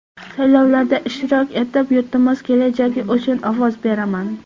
Saylovlarda ishtirok etib, yurtimiz kelajagi uchun ovoz beraman.